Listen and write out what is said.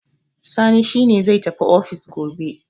Sani ne ne zai tafi ofis gobe.